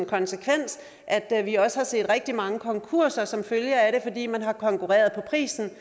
konsekvens at vi også har set rigtig mange konkurser som følge af det fordi man har konkurreret på prisen